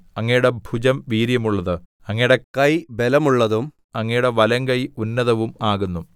അങ്ങയുടെ ഭുജം വീര്യമുള്ളത് അങ്ങയുടെ കൈ ബലമുള്ളതും അങ്ങയുടെ വലങ്കൈ ഉന്നതവും ആകുന്നു